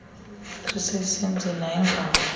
ertyis esendeni ayingawo